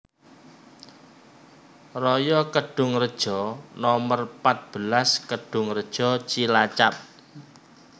Raya Kedungreja nomer pat belas Kedhungreja Cilacap